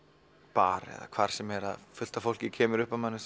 bar eða hvar sem er að fullt af fólki kemur upp að manni